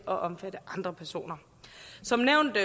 og andre personer som nævnt